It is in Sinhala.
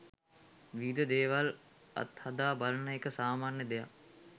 විවිධ දේවල් අත්හදා බලන එක සාමාන්‍ය දෙයක්.